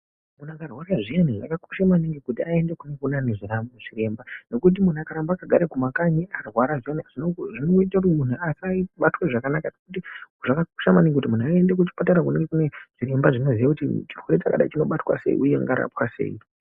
Munhu akarwara zviyani zvakakosha maningi kuti aende kuneane zviremba nokuti munhu akaramba akagare kumakanyi akarwara zvemene zvinoite kuti munhu asaibatwe zvakanaka ngekuti zvakakosha maningi kuti muntu aende kuchipatara kunenge kune zviremba zvinoziye kuti chirwere chakadai chinobatwa sei uye chingarapwa sei.